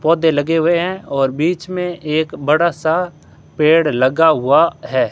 पौधे लगे हुए हैं और बीच में एक बड़ा सा पेड़ लगा हुआ है।